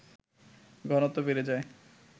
ঘনত্ব বেড়ে যায়